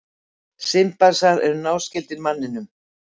Simpansar eru náskyldir manninum.